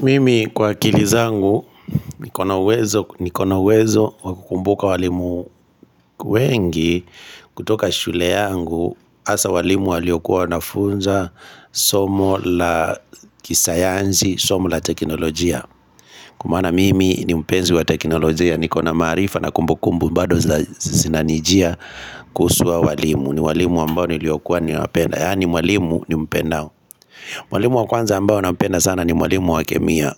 Mimi kwa kilizangu nikona wezo wakukumbuka walimu wengi kutoka shule yangu hasa walimu waliokuwa nafunza somo la kisayansi, somo la teknolojia Kwa maana mimi ni mpenzi wa teknolojia nikona maarifa na kumbukumbu bado zinanijia kusua walimu ni walimu ambao niliokuwa ni napenda, yaani walimu ni mpenda walimu wa kwanza ambao napenda sana ni walimu wa kemia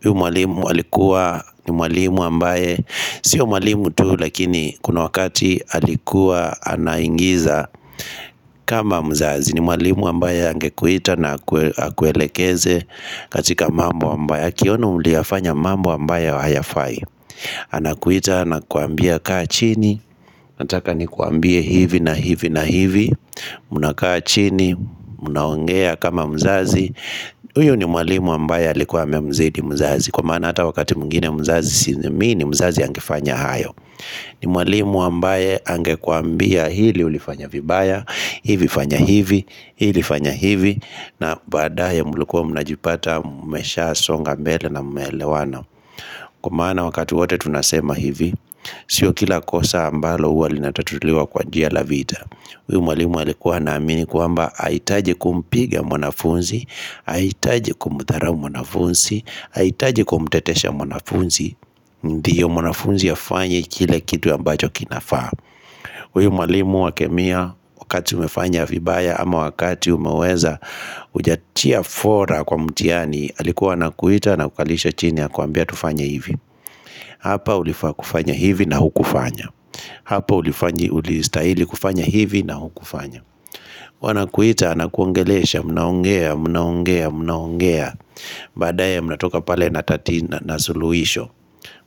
Hiu mwalimu walikuwa ni mwalimu ambaye Sio mwalimu tu lakini kuna wakati alikuwa anaingiza kama mzazi ni mwalimu ambaye angekuita na akuelekeze katika mambo ambaye Akionu muliafanya mambo ambaye wa hayafai Anakuita na kuambia kaa chini Nataka ni kuambie hivi na hivi na hivi Muna kaa chini, munaongea kama mzazi Uyu ni mwalimu ambaye alikuwa mzidi mzazi Kwa mana ata wakati mungine mzazi sinemi ni mzazi yangifanya hayo ni mwalimu ambaye angekuambia hili ulifanya vibaya hivi fanya hivi, hivi fanya hivi na badaya mulukua mnajipata mmesha, songa mbele na mmelewana Kwa mana wakati wote tunasema hivi Sio kila kosa ambalo uwa lina tatuliwa kwa njia la vita Uyumwalimu alikuwa na amini kwa mba Haitaji kumpiga mwanafunzi Haitaji kumuthara mwanafunzi Haitaji kumutetesha mwanafunzi Ndiyo mwanafunzi ya fanyi kile kitu ya mbajo kinafaa Uyumalimu wa kemia wakati umefanya vibaya ama wakati umeweza Ujatia fora kwa mtiani alikuwa na kuita na kukalisha chini ya kuambia tufanya hivi Hapa ulifaa kufanya hivi na hukufanya Hapa ulifanyi ulistaili kufanya hivi na hukufanya Wanakuita na kuangelesha mnaongea mnaongea mnaongea Badaya mnatoka pale na tatina na suluhisho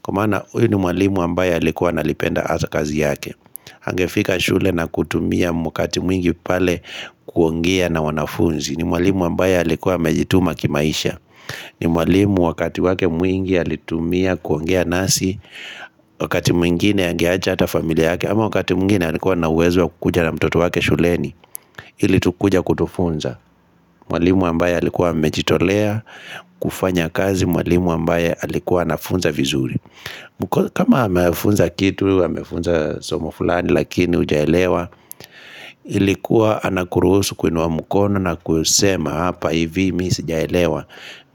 Kumana hui ni mwalimu ambaye alikuwa na lipenda asa kazi yake Hangefika shule na kutumia mwakati mwingi pale kuongia na wanafunzi ni mwalimu ambaye alikuwa mejituma kimaisha ni mwalimu wakati wake mwingi alitumia kuongia nasi Wakati mwingine angiaja ata familia yake ama wakati mwingine alikuwa na wezo kukujana mtoto wake shuleni Hili tukuja kutufunza Mwalimu ambaye alikuwa mechitolea kufanya kazi mwalimu ambaye alikuwa nafunza vizuri kama hamefunza kitu, hamefunza soma fulani lakini ujaelewa Ilikuwa anakuruhusu kuinwa mukono na kusema hapa hivi mi sijaelewa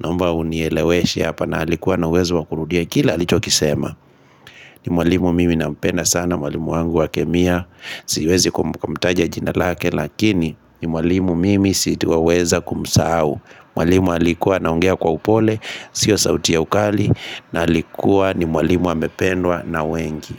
Nomba unieleweshe hapa na halikuwa na wezo wakurudia kila alichokisema ni mwalimu mimi na mpena sana mwalimu wangu wa kemia Siwezi kumutaja jinalake lakini ni mwalimu mimi siituaweza kumusau Mwalimu alikuwa naongea kwa upole, sio sauti ya ukali na alikuwa ni mwalimu wa mependwa na wengi.